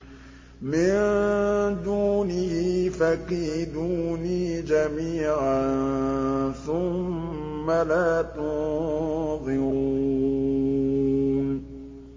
مِن دُونِهِ ۖ فَكِيدُونِي جَمِيعًا ثُمَّ لَا تُنظِرُونِ